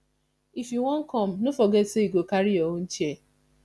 if you wan come no forget sey you go carry your own chair